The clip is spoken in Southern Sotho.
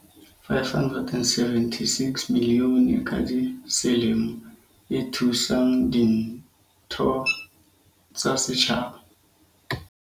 "R576 milione ka selemo e thusang ditho tsa setjhaba."